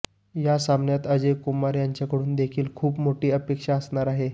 या सामन्यात अजय कुमार यांच्याकडून देखील खूप मोठी अपेक्षा असणार आहे